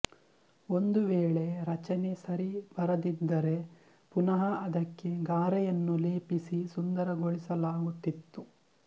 ಒಂದು ವೇಳೆ ರಚನೆ ಸರಿ ಬರದಿದ್ದರೆ ಪುನಃ ಅದಕ್ಕೆ ಗಾರೆಯನ್ನು ಲೇಪಿಸಿ ಸುಂದರಗೊಳಿಸಲಾಗುತ್ತಿತ್ತು